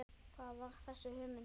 Þar varð þessi hugmynd til.